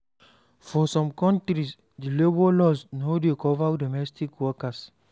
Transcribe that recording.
For some countries, di labour laws no dey cover domestic worker